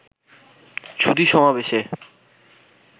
সুধী সমাবেশে